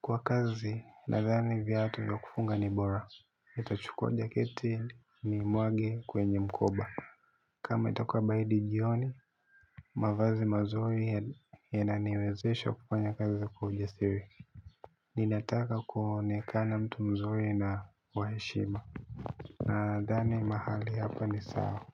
Kwa kazi, nadhani viatu vya kufunga ni bora. Nitachukua jaketi nimwage kwenye mkoba. Kama itakuwa baridi jioni. Mavazi mazuri yananiwezesha kufanya kazi kwa ujasiri. Ninataka kuonekana mtu mzuri na wa heshima. Nadhani mahali hapa ni sawa.